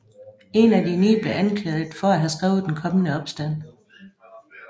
En af de ni blev anklaget for at have skrevet Den kommende opstand